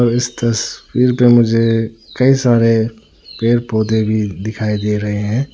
इस तस्वीर में मुझे कई सारे पेड़ पौधे भी दिखाई दे रहे हैं।